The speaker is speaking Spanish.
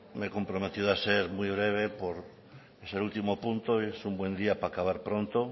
he comprometido a ser muy breve por ser último punto es un buen día para acabar pronto